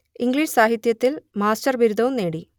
English സാഹിത്യത്തിൽ master ബിരുദവും നേടി